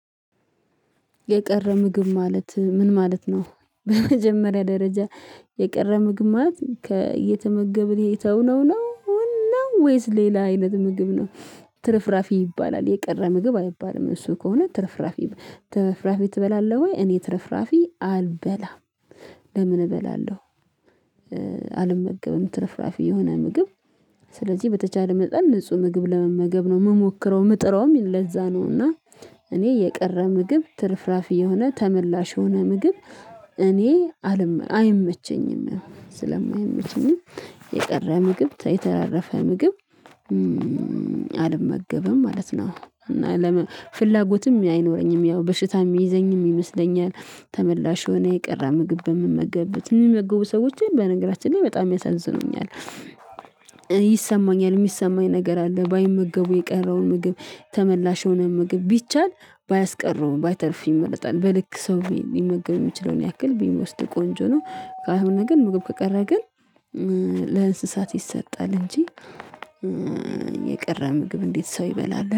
"የቀረ ምግብ ማለት ምን ማለት ነው?" በመጀመሪያ ደረጃ፣ የቀረ ምግብ ማለት ከ እየተመገብን የተውነው ነው ውን ነው ወይስ ሌላ አይነት ምግብ ነው። ትርፍራፊ ይባላል የቀረ ምግብ አይባልም እሱ ከሆነ ትርፍራፊ "ትርፍራፊ ትበላለህ ወይ?" እኔ ትርፍራፊ አልበላም። ለምን እበላለሁ አልመገብም ትርፍራፊ የሆነ ምግብ ስለዚህ በተቻለ መጠን ንጹህ ምግብ ለመመገብ ነው የምሞክረው ምጥረውም ለዛ ነው፤ እና እኔ የቀረ ምግብ ትርፍራፊ የሆነ ተመላሽ የሆነ ምግብ እኔ አል አይመቸኝም ስለማይመቸኝም የቀረ ምግብ የተራረፈ ምግብ አልመገብም ማለት ነው። እና ለመ ፍላጎትም አይኖረኝም ያው በሽታ ምይዘኝም ይመስለኛል ተመላሽ የሆነ የቀረ ምግብ በምመገብበት የሚመገቡ ሰዎችን በነገራችን ላይ በጣም ያሳዝኑኛል። ይሰማኛል የሚሰማኝ ነገር አለ ባይመገቡ የቀረውን ምግብ ተመላሽ የሆነ ምግብ ቢቻል ባያስቀሩ ባይተርፍ ይመርጣል። በልክ ሰው ሊመገብ የሚችለውን ያክል ቢወስድ ቆንጆ ነው። ካልሆን ግን ምግብ ከቀረ ግን ለእንስሳት ይሰጣል እንጂ የቀረ ምግብ እንዴት ሰው ይበላል።